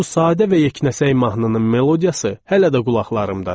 Bu sadə və yeknəsək mahnının melodiyası hələ də qulaqlarımdadır.